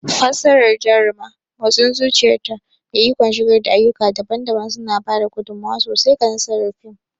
Fassarar Jaruma, motsin zuciyarta, da ikon shigar da ayyuka daban-daban suna ba da gudummawa sosai ga nasarar fim.